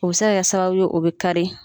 O bɛ se ka kɛ sababu ye o bɛ kari.